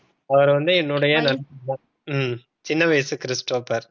அவர் வந்து என்னுடை நண்பர். உம் சின்ன வயசு கிறிஸ்டோபர்.